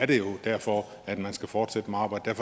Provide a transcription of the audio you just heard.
det er jo derfor man skal fortsætte med arbejdet